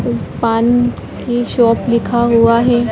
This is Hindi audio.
पान की शॉप लिखा हुआ है।